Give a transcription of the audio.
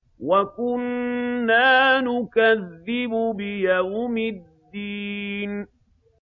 وَكُنَّا نُكَذِّبُ بِيَوْمِ الدِّينِ